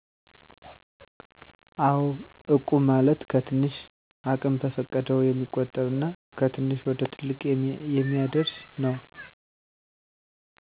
አው እቁብ ማለት ከትንሽ አቅም በፈቀደው የሚቆጠብ እና ከትንሽ ወደትልቅ የሚአደርስ ነው